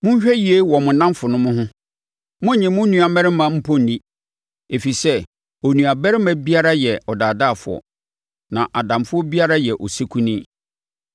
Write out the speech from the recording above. “Monhwɛ yie wɔ mo nnamfonom ho; monnnye mo nuammarima mpo nni. Ɛfiri sɛ onuabarima biara yɛ ɔdaadaafoɔ, na adamfo biara yɛ osekuni.